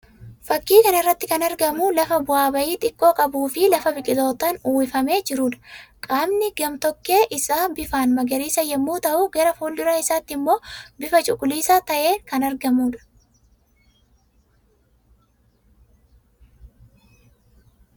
Fakkii kana irratti kan argamu lafa bu'a ba'ii xiqqo qabuu fi lafa biqilootaan uwwifamee jiruu dha. Qaamni gam_tokkee isaa bifaan magariisa yammuu ta'u; gara fuuldura isaatti immoo bifa cuquliisa ta'een kan argamuu dha.